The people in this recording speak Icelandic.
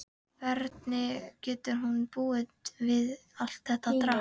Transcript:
Hvernig getur hún búið við allt þetta drasl?